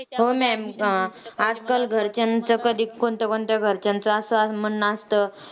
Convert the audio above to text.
हो ma'am आजकाल घरच्यांचं कधी, कोणत्या कोणत्या घरच्यांचं असं म्हणणं असंत,